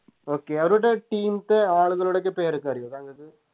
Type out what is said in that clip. Okay അവരുടെ Team ത്തെ ആളുകളുടെയൊക്കെ പേരൊക്കെ അറിയോ താങ്കക്ക്